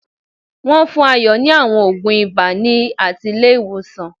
Wón fún Ayo ni àwọn ògùn ibà láti ilé ìwòsàn